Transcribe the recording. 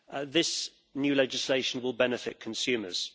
This new legislation will benefit consumers.